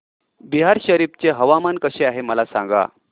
बिहार शरीफ चे हवामान कसे आहे मला सांगा